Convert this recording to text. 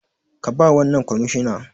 Ka bawa wannan kwamishina